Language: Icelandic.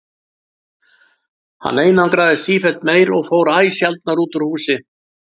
Hann einangraðist sífellt meir og fór æ sjaldnar út úr húsi.